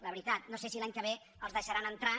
la veritat no sé si l’any que ve els deixaran entrar